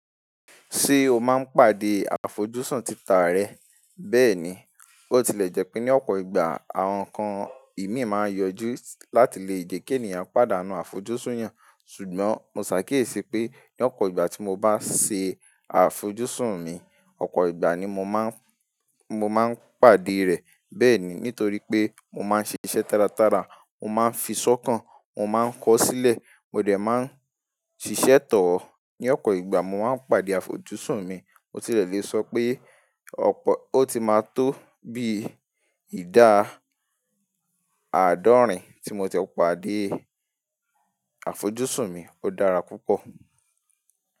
Ṣé o máa ń pàdé àfojúsùn títà rẹ? Bẹ́ẹ̀ni, ó ti lè jẹ́ pé ní ọ̀pọ̀ ìgbà àwọn nǹkan ìní máa ń yọjú láti lè jẹ́ kí ènìyàn padà nu àfojúsùn yẹn. Ṣùgbọ́n mo ṣàkíyèsí pé ní ọ̀pọ̀ ìgbà tí mo bá ṣe àfojúsùn mi, ọ̀pọ̀ ìgbà ni mo máa ń, mo máa ń pàdé rẹ̀. Bẹ́ẹ̀ ni, nítorí pé mo máa ń ṣiṣẹ́ tálátálá, mo máa ń fi sọ́kàn, mo máa ń kọ sílẹ̀, mo lè máa ń ṣiṣẹ́ tọ̀ ọ́. Ní ọ̀pọ̀ ìgbà mo máa ń pàdé àfojúsùn mi. Mo tilẹ̀ lè sọ pé ọ̀pọ̀, ó ti máa tó bí ìdá àádọ́rin tí mo ti lè pàdé àfojúsùn mi. Ó dára púpọ̀